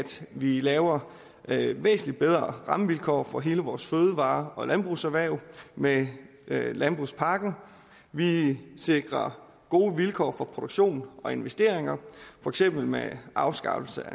vi laver væsentlig bedre rammevilkår for hele vores fødevare og landbrugserhverv med landbrugspakken vi sikrer gode vilkår for produktion og investeringer for eksempel med afskaffelse